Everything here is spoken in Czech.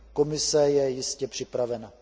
Komise je jistě připravena.